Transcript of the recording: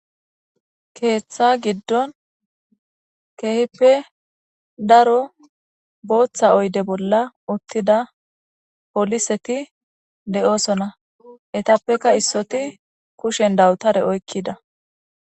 keeththa giddon keehippe daro booththa oyde bolla uttida poliseti de7oosona etappekka issoti kushen dawutare oykkida